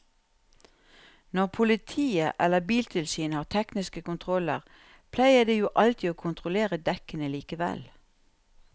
Når politiet eller biltilsynet har tekniske kontroller pleier de jo alltid å kontrollere dekkene likevel.